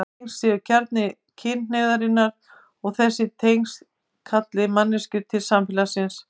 Tengsl séu kjarni kynhneigðarinnar og þessi tengsl kalli manneskjur til samfélags.